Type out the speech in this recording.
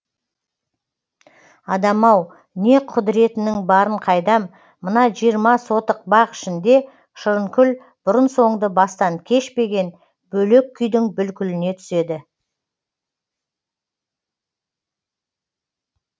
адам ау не құдіретінің барын қайдам мына жиырма сотық бақ ішінде шырынкүл бұрын соңды бастан кешпеген бөлек күйдің бүлкіліне түседі